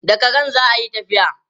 Da karen za a yi tafiya.